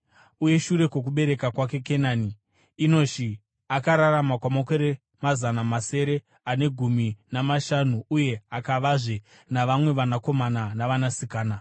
Uye shure kwokubereka kwake Kenani, Enoshi akararama kwamakore mazana masere ane gumi namashanu uye akavazve navamwe vanakomana navanasikana.